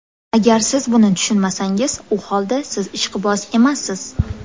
Agar siz buni tushunmasangiz, u holda siz ishqiboz emassiz.